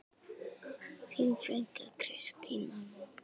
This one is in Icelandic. Þín frænka, Kristín Anna.